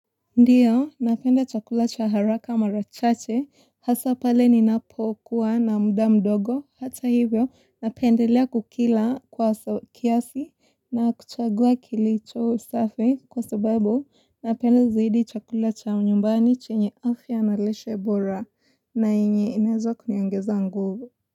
Ndiyo napenda chakula cha haraka mara chache hasa pale ninapokuwa na muda mdogo hata hivyo napendelea kukila kwa kiasi na kuchagua kilicho safi kwa sababu napenda zaidi chakula cha nyumbani chenye afya na lishe bora na yenye inaeza kuniongeza nguvu.